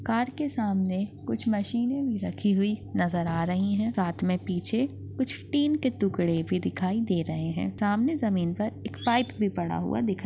car के सामने कुछ मशीन रखी हुई नजर आ रही है साथ में पीछे कुछ टिन के टुकड़े भी दिखाई दे रहे है सामने जमीन पर एक पाइप भी पड़ा हुआ दिखाई --